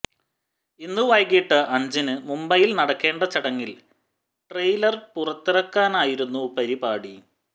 ഇന്നു വൈകിട്ട് അഞ്ചിന് മുംബൈയിൽ നടക്കേണ്ട ചടങ്ങിൽ ട്രെയിലർ പുറത്തിറക്കാനായിരുന്നു പരിപാടി